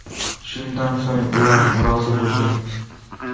Shundan so‘ng ular rozi bo‘lgan.